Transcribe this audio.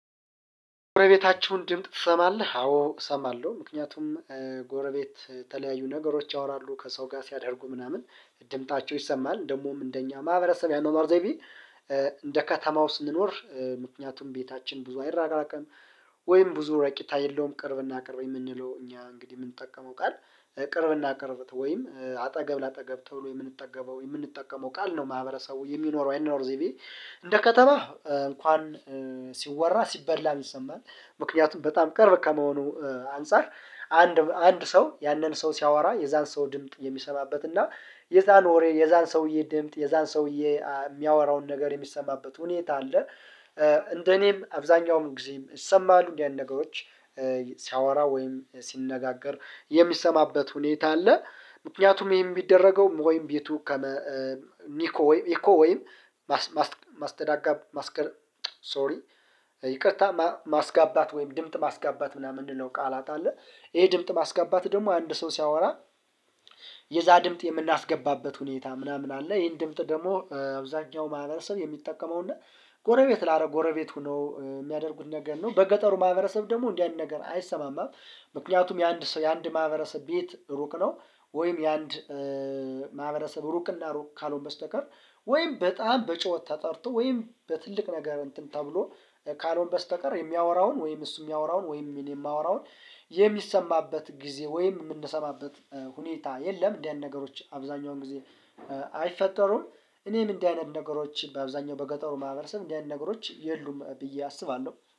ጎረቤታችሁን ድምጥ ትሰማለህ አዎ እሰማለሁ። ምክንያቱም ተለያዩ ነገሮች ያወራሉ ከሰው ጋር ሲያደርጉ ምናምን ድምጣቸው ይሰማል ደግሞም እንደኛ ማህበረሰብ የአኗኗር ዘይቤ እንደ ከተማው ስንኖር ምክንያቱም ቤታችን ብዙ አይራራቅም ወይም ብዙ ረቂታ የለውም ቅርብና ቅርብ የምንለው እኛ እንግዲህ የምንጠቀመው ቃል ቅርብና ቅርብት ወይም አጠገብ ለአጠገብ ተብሎ የምንጠገበው የምንጠቀመው ቃል ነው። ማህበረሰቡ የሚኖረው አይኖር ዘይቤ እንደ ከተማህ እንኳን ሲወራ ሲበላ ይሰማኛል። ምክንያቱም በጣም ቅርብ ከመሆኑ አንፃር አንድ አንድ ሰው ያንን ሰው ሲያወራ የዛን ሰው ድምጥ የሚሰማበት እና የዛን ወሬ የዛን ሰውዬ ድምጥ የዛን ሰውዬ የሚያወራውን ነገር የሚሰማበት ሁኔታ አለ። እንደኔም አብዛኛውም ጊዜም ይሰማሉ እንዲህ አይነት ነገሮች ሲያወራ ወይም ሲነጋገር የሚሰማበት ሁኔታ አለ። ምክንያቱም ይሄን የሚደረገው ወይም ቤቱ ከመ ኒኮ ወይም ኢኮ ወይም ማስተዳጋብ ማስቀር ሶሪ ይቅርታ ማስጋባት ወይም ድምጽ ማስጋባት ምናምን የሚለው ቃላት አለ። ይሄ ድምጽ ማስጋባት ደግሞ አንድ ሰው ሲያወራ የዛ ድምጥ የምናስገባበት ሁኔታ ምናምን አለ ይሄን ድምጽ ደግሞ አብዛኛው ማህበረሰብ የሚጠቀመው እና ጎረቤት ላጎረቤት ሆኖ የሚያደርጉት ነገር ነው። በገጠሩ ማህበረሰብ ደግሞ እንዲህ አይነት ነገር አይሰማማም። ምክንያቱም የአንድ የአንድ ማህበረሰብ ቤት ሩቅ ነው። ወይም የአንድ ማህበረሰብ ሩቅና ሩቅ ካልሆንኩበት በስተቀር ወይም በጣም በጩኸት ተጠርቶ ወይም በትልቅ ነገር እንትን ተብሎ ካልሆንክ በስተቀር የሚያወራውን ወይም እሱ የሚያወራውን ወይም ምን የማወራውን የሚሰማበት ጊዜ ወይም የምንሰማበት ሁኔታ የለም። እንደዚህ ነገሮች አብዛኛውን ጊዜ አይፈጠሩም። እኔም እንደዚህ አይነት ነገሮች በአብዛኛው በገጠሩ ማህበረሰብ እንደዚህ አይነት ነገሮች የሉም ብዬ አስባለሁ